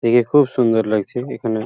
দেখে খুব সুন্দর লাগছে এখানে --